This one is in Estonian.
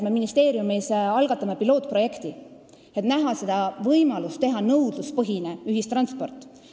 Me ministeeriumis algatame pilootprojekti, et näha, milline on võimalus luua nõudluspõhine ühistransport.